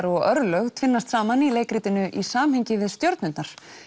og örlög tvinnast saman í leikritinu í samhengi við stjörnurnar